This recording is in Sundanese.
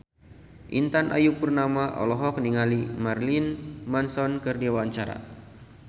Intan Ayu Purnama olohok ningali Marilyn Manson keur diwawancara